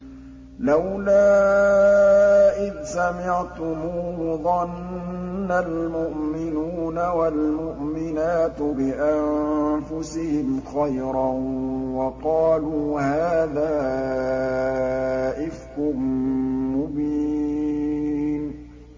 لَّوْلَا إِذْ سَمِعْتُمُوهُ ظَنَّ الْمُؤْمِنُونَ وَالْمُؤْمِنَاتُ بِأَنفُسِهِمْ خَيْرًا وَقَالُوا هَٰذَا إِفْكٌ مُّبِينٌ